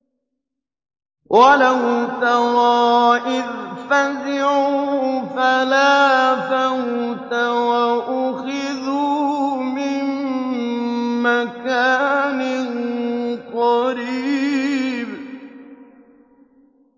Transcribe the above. وَلَوْ تَرَىٰ إِذْ فَزِعُوا فَلَا فَوْتَ وَأُخِذُوا مِن مَّكَانٍ قَرِيبٍ